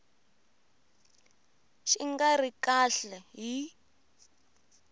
xi nga ri kahle hi